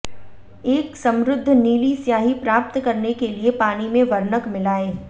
एक समृद्ध नीली स्याही प्राप्त करने के लिए पानी में वर्णक मिलाएं